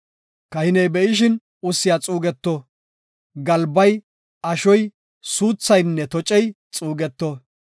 Kahiney be7ishin ussiya xuugeto; galbay, ashoy, suuthaynne tocey xuugeto.